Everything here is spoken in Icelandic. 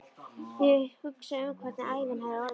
Ég hugsa um hvernig ævin hefði orðið.